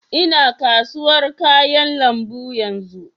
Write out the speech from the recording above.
Ina kasuwar kayan lambu yanzu